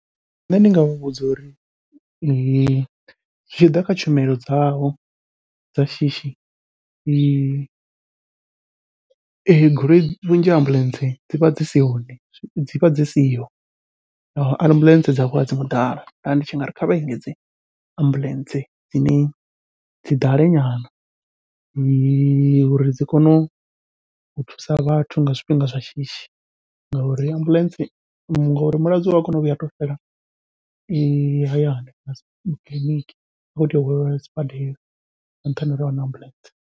Nṋe ndi nga muvhudza uri zwi tshi ḓa kha tshumelo dzavho dza shishi, eyo goloi vhunzhi ha ambuḽentse dzivha dzi si hone dzi vha dzi siho ambuḽentse dzavho adzi ngo ḓala nda ndi tshi nga ri kha vha engedze ambuḽentse dzine dzi ḓale nyana uri dzi kone u thusa vhathu nga zwifhinga zwa shishi. Ngauri ambuḽentse, ngori mulwadze ua kona u vhuya ato fela hayani kiḽiniki a khou tea u hwaleliwa sibadela nga nṱhani ha uri ahuna ambuḽentse.